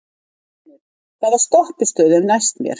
Mjölnir, hvaða stoppistöð er næst mér?